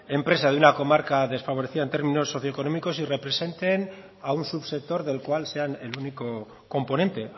empresa de una comarca desfavorecida en términos socio económicos y representen a un subsector del cual sean el único componente